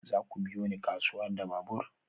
Za ku biyo ni kasuwa da babur?